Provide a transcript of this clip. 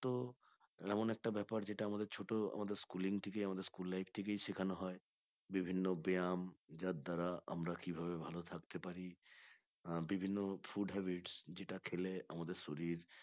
তো এমন একটা ব্যাপার যেটা আমাদের ছোট আমাদের schooling থেকে আমাদের school life থেকেই শেখানো হয় বিভিন্ন ব্যায়াম যার দ্বারা আমরা কিভাবে ভালো থাকতে পারি আহ বিভিন্ন food habits যেটা খেলে আমাদের শরীর